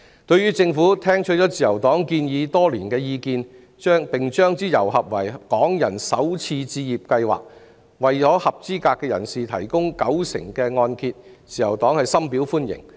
對於政府聽取了自由黨提出多年的建議，並將之揉合為港人首次置業計劃，為合資格人士提供九成按揭，自由黨深表歡迎。